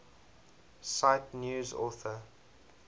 cite news author